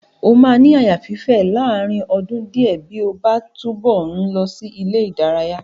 O máa ní àyà fífè láàárín ọdún díẹ̀ bí ó bá ń túbọ̀ ń lọ sí ilé-ìdaraya.